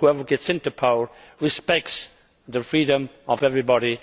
whoever gets into power must respect the freedom of everybody.